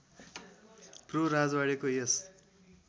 pro राजवाड़ेको यस